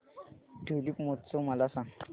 tulip महोत्सव मला सांग